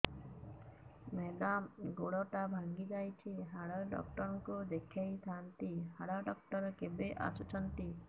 madam ଗୋଡ ଟା ଭାଙ୍ଗି ଯାଇଛି ହାଡ ଡକ୍ଟର ଙ୍କୁ ଦେଖାଇ ଥାଆନ୍ତି ହାଡ ଡକ୍ଟର କେବେ ଆସୁଛନ୍ତି